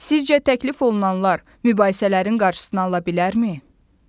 Sizcə təklif olunanlar mübahisələrin qarşısını ala bilərmi?